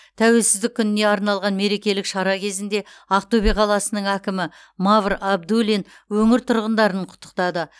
тәуелсіздік күніне арналған мерекелік шара кезінде ақтөбе қаласының әкімі мавр абдуллин өңір тұрғындарын құттықтады